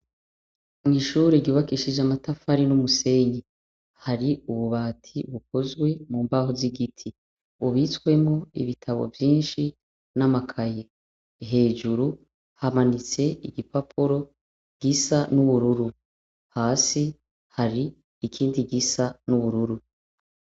Mw'ishure ryubakishijwe amatafari n'umusenyi, hari ububati bukoze mumbaho z'igiti, bubitswemwo ibitabo vyinshi n'amakaye. Hejuru hamanitse, igipapuro gisa n'ubururu. Hasi hari ikindi gisa n'ubururu.